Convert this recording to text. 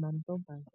mantombazane.